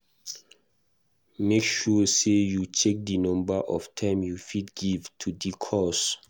Make sure say you check the number of time you fit give to di cause